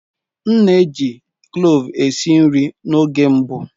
M na-eji cloves esi nri n'oge mbụ.